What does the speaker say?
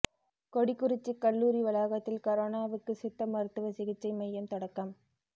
கொடிக்குறிச்சி கல்லூரி வளாகத்தில் கரோனாவுக்கு சித்த மருத்துவ சிகிச்சை மையம் தொடக்கம்